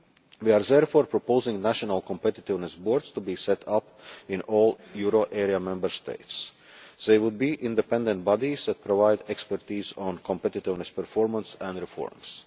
We are therefore proposing that national competitiveness boards be set up in all euro area Member States. They would be independent bodies that provide expertise on competitiveness, performance and reforms.